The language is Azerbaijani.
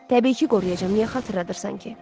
Təbii ki, qoruyacam, niyə xatırladırsan ki?